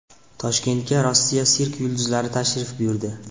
Toshkentga Rossiya sirk yulduzlari tashrif buyurdi.